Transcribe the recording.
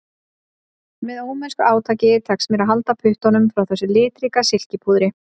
Með ómennsku átaki tekst mér að halda puttunum frá þessu litríka silkipúðri